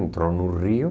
Entrou no rio.